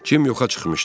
Cim yoxa çıxmışdı.